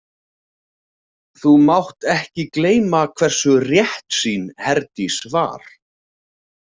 Þú mátt ekki gleyma hversu réttsýn Herdís var.